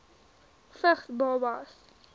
vigs babas